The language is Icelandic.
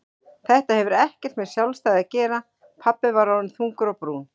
Þetta hefur ekkert með sjálfstæði að gera pabbi var orðinn þungur á brún.